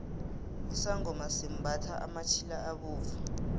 isangoma simbathha amatjhila abovu